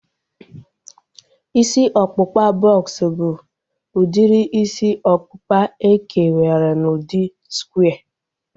Isi ọkpụkpa bọks bụ udiri isi ọkpụkpa e kewara n'udi skware